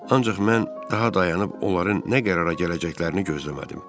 Ancaq mən daha dayanıb onların nə qərara gələcəklərini gözləmədim.